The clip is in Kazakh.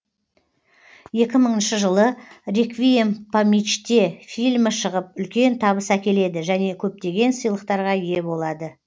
екі мыңыншы жылы реквием по мечте фильмі шығып үлкен табыс әкеледі және көптеген сыйлықтарға ие болады